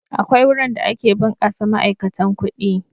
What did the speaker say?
Akwai wurin da ake ɓunkasa ma'aikatan kuɗi.